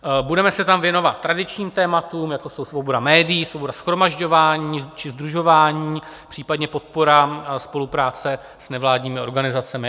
Budeme se tam věnovat tradičním tématům, jako jsou svoboda médií, svoboda shromažďování či sdružování, případně podpora spolupráce s nevládními organizacemi.